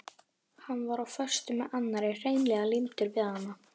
Hann var á föstu með annarri, hreinlega límdur við hana.